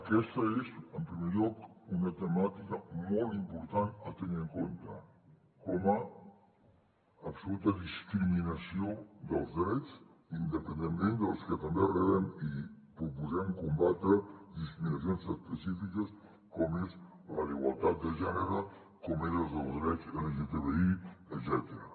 aquesta és en primer lloc una temàtica molt important a tenir en compte com a absoluta discriminació dels drets independentment dels que també rebem i proposem combatre disminucions específiques com és la d’igualtat de gènere com és la dels drets lgtbi etcètera